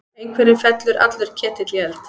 Einhverjum fellur allur ketill í eld